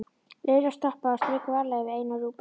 Lilla stoppaði og strauk varlega yfir eina rjúpuna.